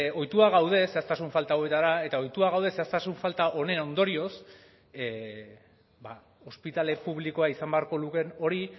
ohituak gaude zehaztasun falta hauetara eta ohituak gaude zehaztasun falta honen ondorioz ba ospitale publikoa izan beharko lukeen hori